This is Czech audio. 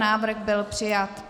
Návrh byl přijat.